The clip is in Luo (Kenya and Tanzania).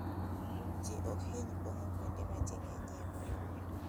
Ji ok hiny pong'o kuonde ma ji ng'enyie moloyo.